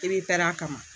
I bɛ pɛrɛn a kama